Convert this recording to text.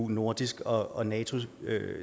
nordisk og og natos